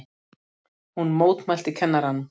Hún mótmælti kennaranum!